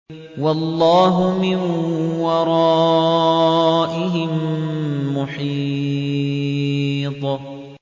وَاللَّهُ مِن وَرَائِهِم مُّحِيطٌ